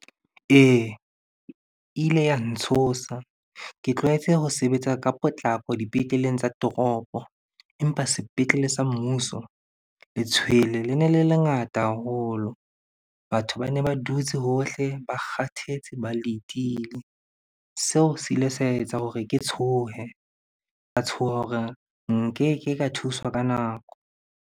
Ee, e ile ya ntshosa. Ke tlwaetse ho sebetsa ka potlako dipetleleng tsa toropo. Empa sepetlele sa mmuso, letshwele le ne le lengata haholo. Batho babe ba dutse hohle, ba kgathetse, ba letile. Seo se ile sa etsa hore ke tshohe, ka tshoha hore nkeke ka thuswa ka nako.